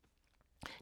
DR K